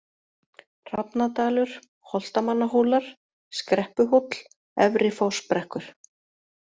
Hrafnadalur, Holtamannahólar, Skreppuhóll, Efri-Fossbrekkur